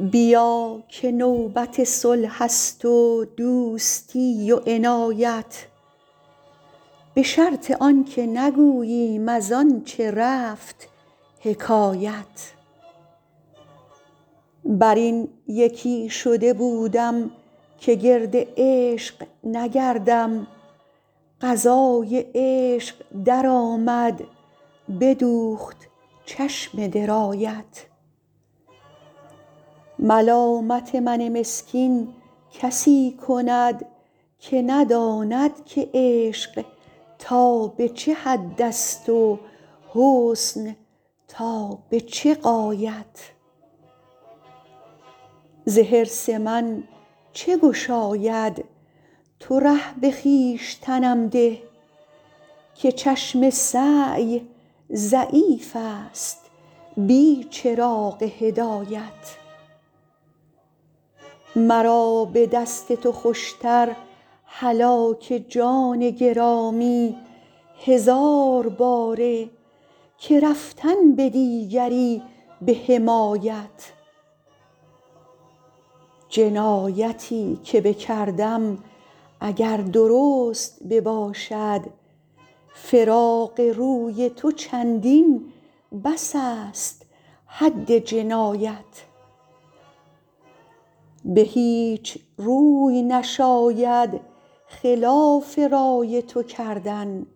بیا که نوبت صلح است و دوستی و عنایت به شرط آن که نگوییم از آن چه رفت حکایت بر این یکی شده بودم که گرد عشق نگردم قضای عشق درآمد بدوخت چشم درایت ملامت من مسکین کسی کند که نداند که عشق تا به چه حد است و حسن تا به چه غایت ز حرص من چه گشاید تو ره به خویشتنم ده که چشم سعی ضعیف است بی چراغ هدایت مرا به دست تو خوش تر هلاک جان گرامی هزار باره که رفتن به دیگری به حمایت جنایتی که بکردم اگر درست بباشد فراق روی تو چندین بس است حد جنایت به هیچ روی نشاید خلاف رای تو کردن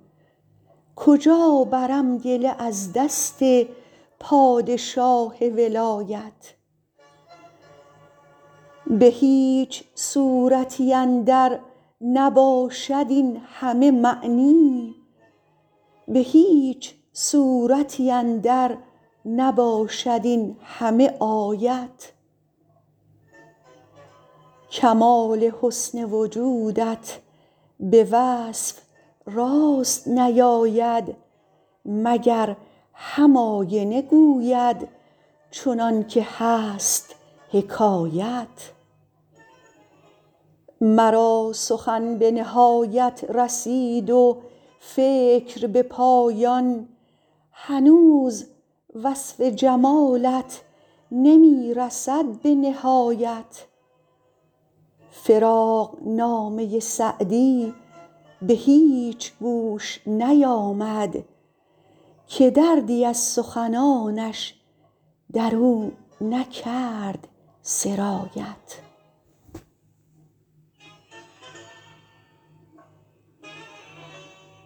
کجا برم گله از دست پادشاه ولایت به هیچ صورتی اندر نباشد این همه معنی به هیچ سورتی اندر نباشد این همه آیت کمال حسن وجودت به وصف راست نیاید مگر هم آینه گوید چنان که هست حکایت مرا سخن به نهایت رسید و فکر به پایان هنوز وصف جمالت نمی رسد به نهایت فراقنامه سعدی به هیچ گوش نیامد که دردی از سخنانش در او نکرد سرایت